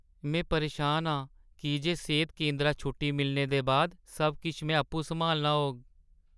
में परेशान आं की जे सेह्‌त केंदरा छुट्टी मिलने दे बाद सब किश में आपूं सम्हालना होग।